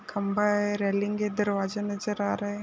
खंबा है रेलिंग हैदरवाजा नजर आ रा है।